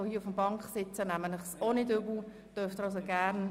Ich nehme Ihnen dies nicht übel und wohl auch nicht die Regierungsräte.